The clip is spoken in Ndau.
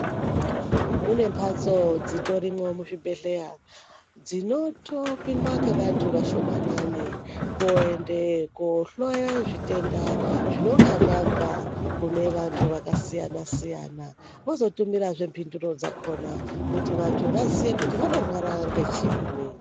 Mune mbatso dzitorimwo mu zvibhedhleya dzinoto pindwa nge vantu vashomanani koende ko hloye zvitenda zvinonga zvabva kune vantu vaka siyana siyana vozo tumirazve mbinduro dzakona kuti vantu vaziye kuti vanorwara nge chiinyi.